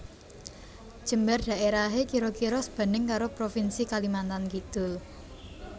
Jembar daerahé kira kira sebanding karo provinsi Kalimantan Kidul